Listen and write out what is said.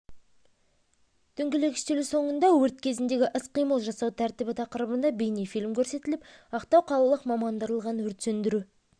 дөңгелек үстел соңында өрт кезіндегі іс-қимыл жасау тәртібі тақырыбында бейнефильм көрсетіліп ақтау қалалық мамандандырылған өрт сөндіру